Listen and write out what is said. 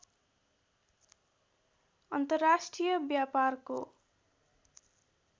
अन्तर्राष्ट्रिय व्यापारको